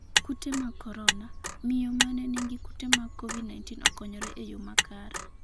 kute mag korona: miyo mane nigi kute mag covid-19 okonyore e yoo makare